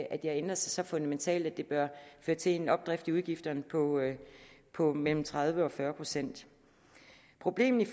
at de har ændret sig så fundamentalt at det bør føre til en opdrift i udgifterne på mellem tredive og fyrre procent problemet